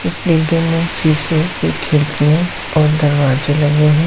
इस डिब्बे में शीशे की खिड़कियां और दरवाजे लगे हैं।